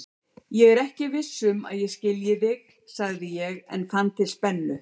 Ég er ekki viss um að ég skilji þig, sagði ég en fann til spennu.